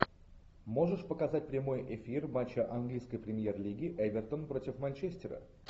можешь показать прямой эфир матча английской премьер лиги эвертон против манчестера